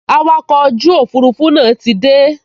Awakọ̀ ojú òfurufú náà ti dé